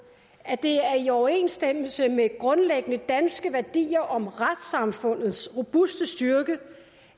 at det er i overensstemmelse med grundlæggende danske værdier om retssamfundets robuste styrke